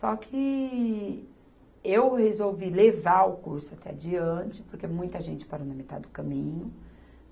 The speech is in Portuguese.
Só que eu resolvi levar o curso até adiante, porque muita gente parou na metade do caminho.